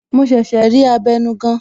Mo ṣẹ̀ṣẹ̀ rí abenugan